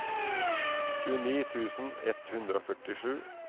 tjueni tusen ett hundre og førtisju